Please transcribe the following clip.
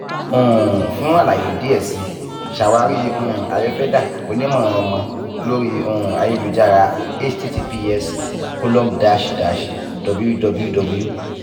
um fun alaye diẹ sii ṣawari um ayurveda [cs onimọ-ọmọ lori um ayelujara https colom dash dash www